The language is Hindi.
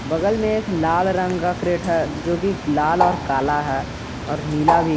बगल में एक लाल रंग का क्रेठर है जो की लाल और काला है और नीला भी।